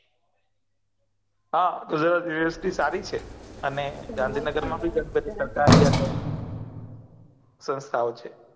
હા ગુજરાત university સારી છે અને ગાંધીનગર માં ભી બધી સંથાઓ છે